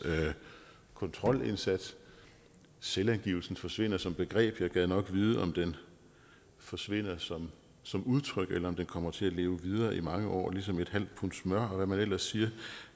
kontrolindsats selvangivelsen forsvinder som begreb jeg gad nok vide om den forsvinder som som udtryk eller om den kommer til at leve videre i mange år ligesom en halv pund smør og hvad man ellers siger